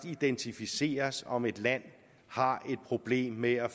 identificeres om et land har et problem med at